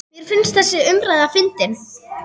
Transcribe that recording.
Mér finnst þessi umræða fyndin.